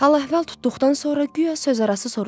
Hal-əhval tutduqdan sonra guya sözarası soruşdum.